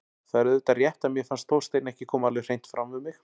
Það er auðvitað rétt að mér fannst Þorsteinn ekki koma alveg hreint fram við mig.